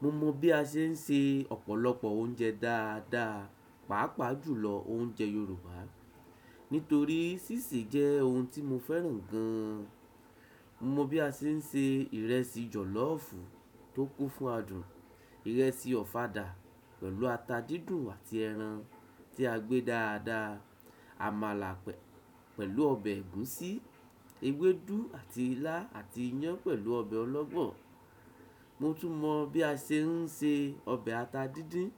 Mo mọ bí a ṣe ń se ọ̀pọ̀lọpọ̀ oúnjẹ dáadáa, pàápàá jùlọ oúnjẹ Yorùbá. Nítorí sísì jẹ́ ohun tí mo fẹ́ràn gan-an. Mo mọ bí a ṣe ń se ìrẹsì jọ̀lọ́ọ̀fù tó kún fún adùn, ìrẹsì ọ̀fadà pẹ̀lú ata dídùn àti ẹran tí a gbé dáadáa, àmàlà pẹ̀-pẹ̀lú ọbẹ̀ ẹ̀gúsí, ewédú àti ilá àti iyán pẹ̀lú ọbẹ̀ ọlọ́gbọ́n. Mo tún mọ bí a ṣe ń se ọbẹ̀ ata dídín,